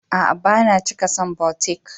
A'a, ba na cika son butiƙ.